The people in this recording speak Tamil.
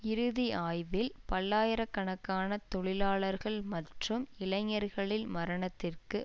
இறுதி ஆய்வில் பல்லாயிர கணக்கான தொழிலாளர்கள் மற்றும் இளைஞர்களின் மரணத்திற்கு